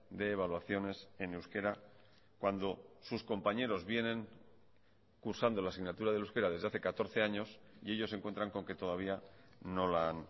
de evaluaciones en euskera cuando sus compañeros vienen cursando la asignatura del euskera desde hace catorce años y ellos se encuentran con que todavía no la han